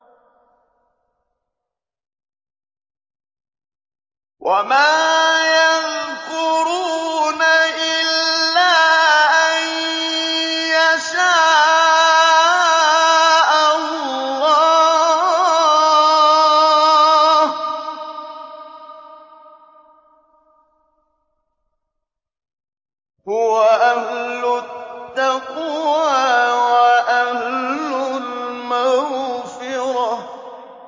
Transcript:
وَمَا يَذْكُرُونَ إِلَّا أَن يَشَاءَ اللَّهُ ۚ هُوَ أَهْلُ التَّقْوَىٰ وَأَهْلُ الْمَغْفِرَةِ